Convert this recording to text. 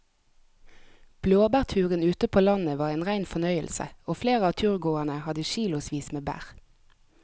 Blåbærturen ute på landet var en rein fornøyelse og flere av turgåerene hadde kilosvis med bær.